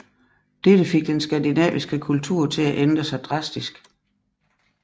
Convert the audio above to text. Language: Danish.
Dette fik den skandinaviske kultur til at ændre sig drastisk